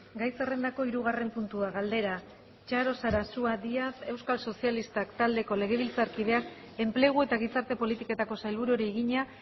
gai zerrendako hirugarren puntua galdera txaro sarasua díaz euskal sozialistak taldeko legebiltzarkideak enplegu eta gizarte politiketako sailburuari egina